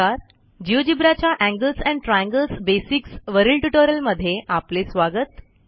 GeoGebra च्या angles and triangles basics वरील ट्युटोरियलमध्ये आपले स्वागत